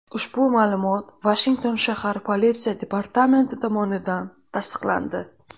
Ushbu ma’lumot Vashington shahar politsiya departamenti tomonidan tasdiqlandi .